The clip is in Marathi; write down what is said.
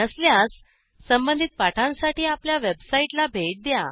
नसल्यास संबधित पाठांसाठी आपल्या वेबसाईटला भेट द्या